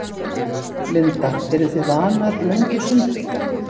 Linda: Eru þið vanar löngu sundi?